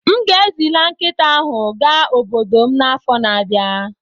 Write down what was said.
M ga-ezila nkịta ahụ ga obodo m n'afọ na-abịa.